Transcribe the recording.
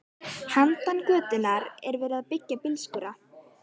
Handan götunnar er verið að byggja bílskúra.